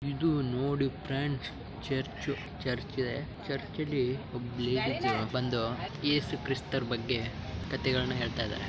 ಇದು ನೋಡಿ friends church ಚರ್ಚಲ್ಲಿ ಒಬ್ಬ ಲೇಡಿ ಬಂದು ಒಬ್ಬ ಲೇಡಿ ಬಂದು ಯೇಸು ಕ್ರಿಸ್ತರ ಬಗ್ಗೆ ಕತೆಗಳನ್ನು ಹೇಳುತ್ತಿದ್ದಾರೆ .